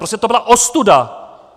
Prostě to byla ostuda!